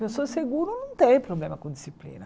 Pessoa segura não tem problema com disciplina.